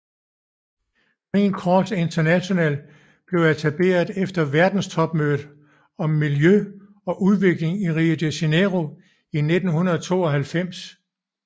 Green Cross International blev etableret efter verdenstopmødet om miljø og udvikling i Rio de Janeiro i 1992